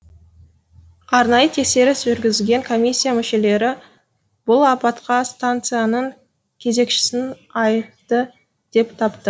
арнайы тексеріс жүргізген комиссия мүшелері бұл апатқа станцияның кезекшісін айыпты деп тапты